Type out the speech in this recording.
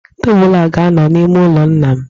Tebụlụ a ga-anọ n'ime ụlọ nna m.